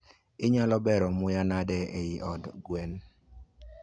Inyalo bero muya nade eiy od gwen?